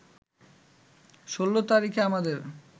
১৬ তারিখে আমাদের